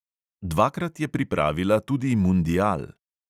Dvakrat je pripravila tudi mundial.